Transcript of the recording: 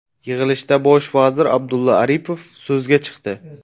Yig‘ilishda bosh vazir Abdulla Aripov so‘zga chiqdi.